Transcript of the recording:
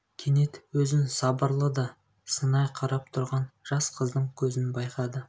кенет өзін сабырлы да сынай қарап тұрған жас қыздың көзін байқады